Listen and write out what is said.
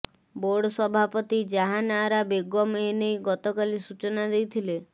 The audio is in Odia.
ବୋର୍ଡ ସଭାପତି ଜାହାନ ଆରା ବେଗମ୍ ଏନେଇ ଗତକାଲି ସୂଚନା ଦେଇଥିଲେ